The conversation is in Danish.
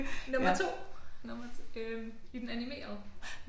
Nummer 2 nummer 2 øh i den animerede